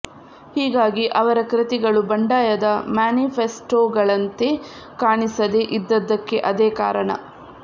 ಹೀಗಾಗಿ ಅವರ ಕೃತಿಗಳು ಬಂಡಾಯದ ಮ್ಯಾನಿಫೆಸ್ಟೋಗಳಂತೆ ಕಾಣಿಸದೇ ಇದ್ದದ್ದಕ್ಕೆ ಅದೇ ಕಾರಣ